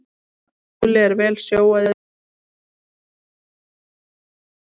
Óli er vel sjóaður í þessu og þeir voru ekkert stressaðir fyrir þennan leik.